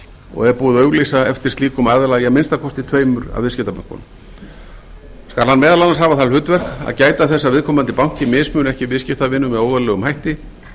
og er búið að auglýsa eftir slíkum aðila í að minnsta kosti tveimur af viðskiptabönkunum skal hann meðal annars hafa það hlutverk að gæta þess að viðkomandi banki mismuni ekki viðskiptavinum með óeðlilegum hætti